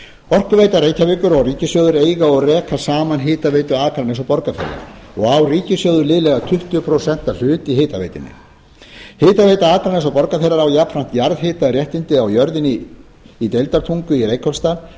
orkuveita reykjavíkur og ríkissjóður eiga og reka saman hitaveitu akraness og borgarfjarðar og á ríkissjóður liðlega tuttugu prósenta hlut í hitaveitunni hitaveita akraness og borgarfjarðar á jafnframt jarðhitaréttindi á jörðinni í deildartungu í reykholtsdal þar